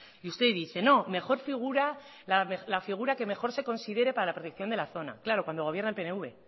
y usted dice no mejor figura la figura que mejor se considere para la protección de la zona claro cuando gobierna el pnv